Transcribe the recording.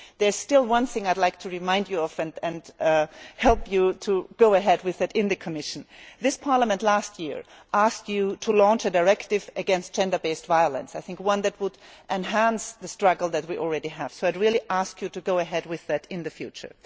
There is still one thing I would like to remind you of and help you to go ahead with it in the Commission. Last year, this Parliament asked you to launch a directive against gender based violence, one that would enhance the struggle that we already have. I would ask you to go ahead with that in the future.